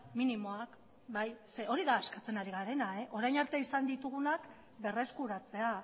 minimoak bai ze hori da eskatzen ari garena orain arte izan ditugunak berreskuratzea